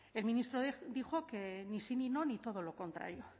el ministro dijo que ni sí ni no ni todo lo contrario